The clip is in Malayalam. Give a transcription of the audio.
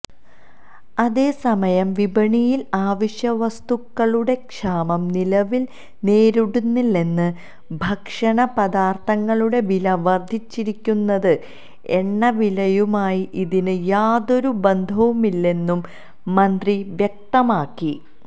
അതേസമയം വിപണിയിൽ അവശ്യവസ്തുക്കളുടെ ക്ഷാമം നിലവിൽ നേരിടുന്നില്ലെന്നും ഭക്ഷണപദാർഥങ്ങളുടെ വില വർധിച്ചിരിക്കുന്നത് എണ്ണവിലയുമായി ഇതിന് യാതൊരു ബന്ധവുമില്ലെന്നും മന്ത്രി വ്യക്തമാക്കി